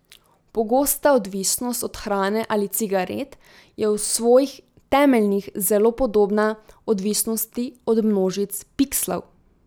Pogosta odvisnost od hrane ali cigaret je v svojih temeljih zelo podobna odvisnosti od množic pikslov.